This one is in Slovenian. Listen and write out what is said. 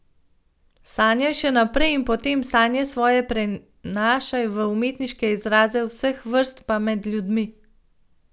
Sanjaj še naprej in potem sanje svoje prenašaj v umetniške izraze vseh vrst pa med ljudi.